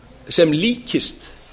sem líkist